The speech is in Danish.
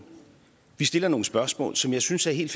vi stiller nogle spørgsmål som jeg synes er helt